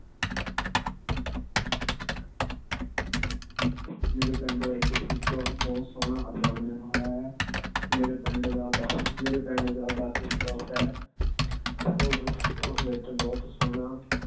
ਮੇਰੇ ਪਿੰਡ ਵਿੱਚ ਇੱਕ ਬਹੁਤ ਸੋਹਣਾ ਅੱਡਾ ਬਣਿਆ ਹੋਇਆ ਹੈ। ਮੇਰੇ ਪਿੰਡ ਦਾ ਬੱਸ ਮੇਰੇ ਪਿੰਡ ਦਾ ਬੱਸ Stop ਹੈ। ਉਸ ਵਿੱਚ ਬਹੁਤ ਸੋਹਣਾ